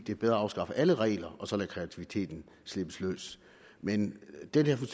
det er bedre at afskaffe alle regler og så lade kreativiteten slippe løs men dette